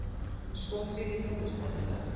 Skothríð í Túnisborg í dag